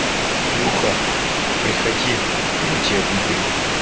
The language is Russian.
илюха приходи я тебя выбелю